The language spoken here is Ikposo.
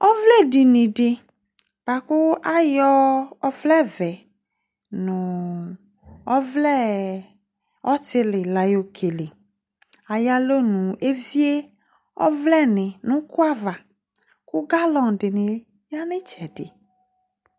ovledinidi buaku ayo ovleve noo ovle nu ovle otili layokele ayalonu evie ovleni nukoava kalodini yanitsedi